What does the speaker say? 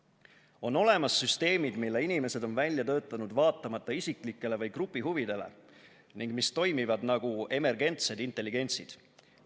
on olemas süsteemid, mille inimesed on välja töötanud vaatamata isiklikele või grupi huvidele ning mis toimivad nagu emergentsed intelligentsid.